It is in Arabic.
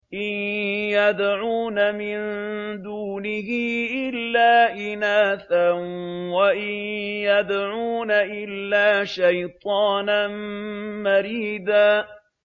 إِن يَدْعُونَ مِن دُونِهِ إِلَّا إِنَاثًا وَإِن يَدْعُونَ إِلَّا شَيْطَانًا مَّرِيدًا